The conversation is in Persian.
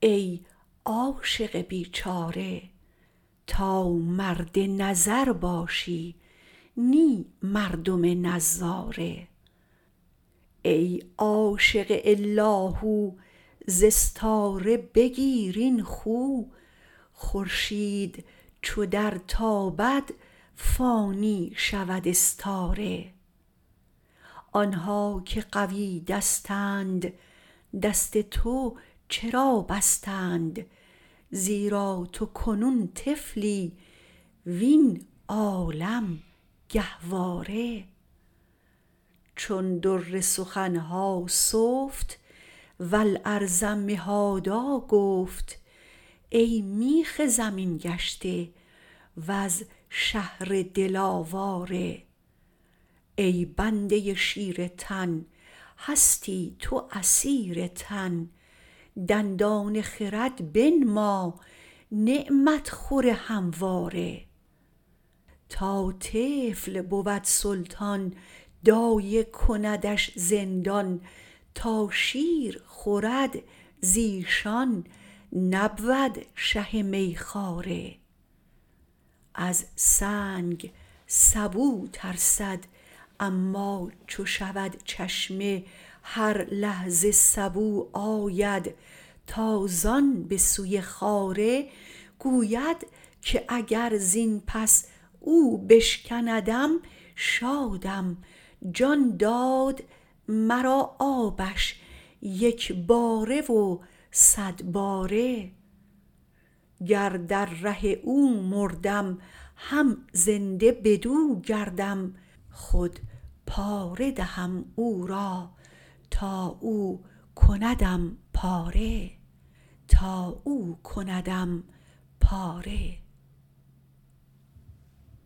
ای عاشق بیچاره تا مرد نظر باشی نی مردم نظاره ای عاشق الاهو ز استاره بگیر این خو خورشید چو درتابد فانی شود استاره آن ها که قوی دستند دست تو چرا بستند زیرا تو کنون طفلی وین عالم گهواره چون در سخن ها سفت و الارض مهادا گفت ای میخ زمین گشته وز شهر دل آواره ای بنده شیر تن هستی تو اسیر تن دندان خرد بنما نعمت خور همواره تا طفل بود سلطان دایه کندش زندان تا شیر خورد ز ایشان نبود شه میخواره از سنگ سبو ترسد اما چو شود چشمه هر لحظه سبو آید تازان به سوی خاره گوید که اگر زین پس او بشکندم شادم جان داد مرا آبش یک باره و صد باره گر در ره او مردم هم زنده بدو گردم خود پاره دهم او را تا او کندم پاره